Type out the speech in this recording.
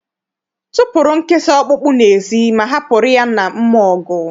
Tụpụrụ nkịta ọkpụkpụ n'ezi, ma hapụrụ ya na mmụọ ọgụ!